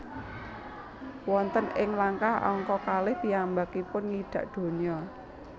Wonten ing langkah angka kalih piyambakipun ngidak donya